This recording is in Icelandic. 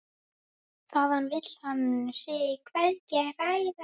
Þaðan vill hann sig hvergi hræra.